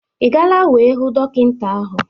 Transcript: Ị gaala wee hụ dọkịta ahụ?